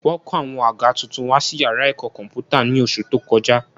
Wọ́n kó àwọn àga tuntun wá sí yàrá ẹ̀kọ́ kọ̀m̀pútà ní oṣù tó kọjá